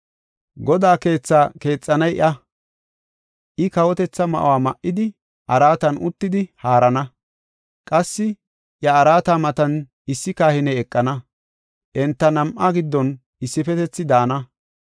Godaa keetha keexanay iya; I kawotetha ma7uwa ma77idi, araatan uttidi haarana. Qassi iya araata matan issi kahiney eqana; enta nam7aa giddon issifetethi daana.’